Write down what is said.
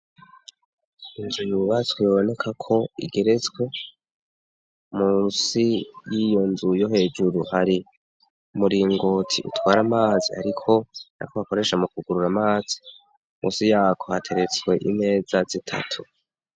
Inzu yubatswe biboneka ko igeretswe. Musi y'iyo nzu yo hejuru hari umuringoti utwara amazi ariko ako bakoresha mukwugurura amazi musi yako hateretswe imeza zitatu.